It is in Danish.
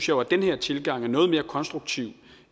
jo at den her tilgang er noget mere konstruktiv